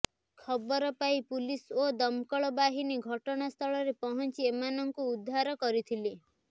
ଖବର ପାଇ ପୁଲିସ ଓ ଦମକଳ ବାହିନୀ ଘଟଣାସ୍ଥଳରେ ପହଞ୍ଚି ଏମାନଙ୍କୁ ଉଧାର କରିଥିଲେ